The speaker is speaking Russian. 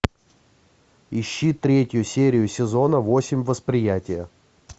ищи третью серию сезона восемь восприятие